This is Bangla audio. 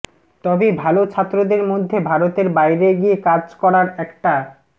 তবে ভাল ছাত্রদের মধ্যে ভারতের বাইরে গিয়ে কাজ করার একটা